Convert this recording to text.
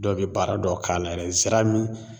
Dɔw bɛ baara dɔ k'a la yɛrɛ zara mi